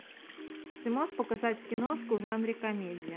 ты можешь показать киношку в жанре комедия